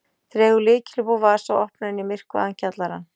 Dregur lykil upp úr vasa og opnar inn í myrkvaðan kjallarann.